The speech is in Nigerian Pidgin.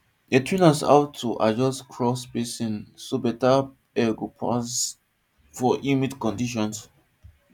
dem train us how to adjust crop spacing so beta air go pass for humid conditions